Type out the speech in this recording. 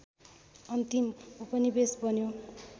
अन्तिम उपनिवेश बन्यो